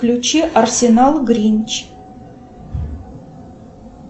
включи арсенал гринч